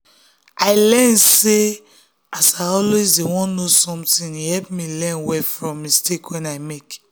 i learn sey as i always dey want know something e help me learn well from mistake wey i make.